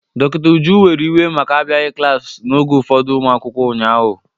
Dọkịta Uju were iwe maka abịaghị klaasị n'oge ụfọdụ ụmụ akwụkwọ ụnyaahụ.